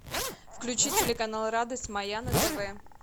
включи телеканал радость моя на тв